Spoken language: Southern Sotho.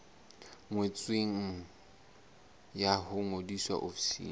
ngotsweng ya ho ngodisa ofising